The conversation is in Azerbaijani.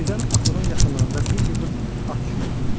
Birdən axurun yaxınlığında bir yığın at çullu gördü.